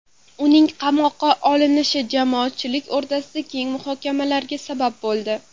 Uning qamoqqa olinishi jamoatchilik o‘rtasida keng muhokamalarga sabab bo‘ldi.